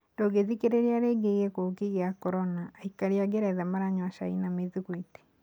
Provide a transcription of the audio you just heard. Ndũngĩthikĩrĩria rĩngĩ gĩkũki kia Corona:Aikari a Ngeretha maranyua cai na mĩthikwiti.